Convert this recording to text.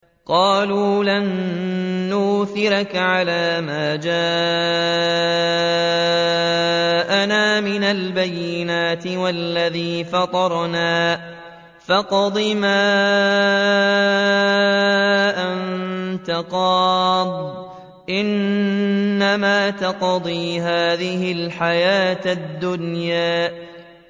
قَالُوا لَن نُّؤْثِرَكَ عَلَىٰ مَا جَاءَنَا مِنَ الْبَيِّنَاتِ وَالَّذِي فَطَرَنَا ۖ فَاقْضِ مَا أَنتَ قَاضٍ ۖ إِنَّمَا تَقْضِي هَٰذِهِ الْحَيَاةَ الدُّنْيَا